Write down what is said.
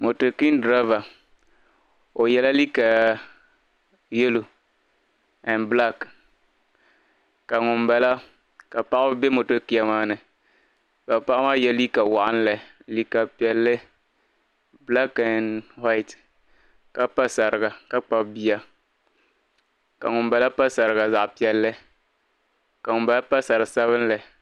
Mɔto kin dreba ɔ yela. liiga yelɔw and black, ka ŋun bala.ka paɣibi be mɔto kin maani ka paɣi maa ye liiga waɣinli liiga piɛli black and white, ka pa sariga ka Kpabi biya ka ŋun bala pa sariga zaɣi piɛli, ka ŋun bala pa sari sabinli.